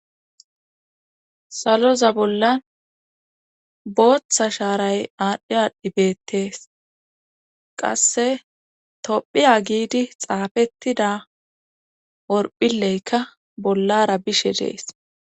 saloza bollan booththa shaaray aadhdhi aadhdhibeettees qasse tophiya giidi xaafettida orphileykka bollara bishe dees